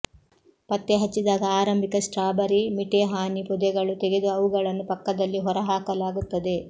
ಪತ್ತೆಹಚ್ಚಿದಾಗ ಆರಂಭಿಕ strawberry mite ಹಾನಿ ಪೊದೆಗಳು ತೆಗೆದು ಅವುಗಳನ್ನು ಪಕ್ಕದಲ್ಲಿ ಹೊರಹಾಕಲಾಗುತ್ತದೆ